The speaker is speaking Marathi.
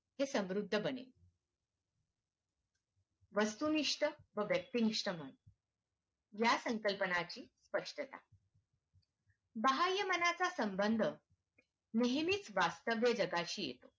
हे समृद्ध बने वस्तुनिष्ठ व व्यक्तिनिष्ठ बने या संकल्पनाची स्पष्टता बाहय मनाचा संबंध नेहंनीच वास्तव्य जगाशी